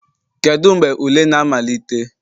Kedu mgbe ule na-amalite